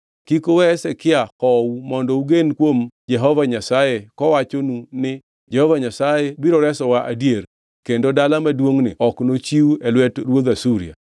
Kik uwe Hezekia hou mondo ugen kuom Jehova Nyasaye kowachonu ni, ‘Jehova Nyasaye biro resowa adier, kendo dala maduongʼni ok nochiw e lwet ruodh Asuria.’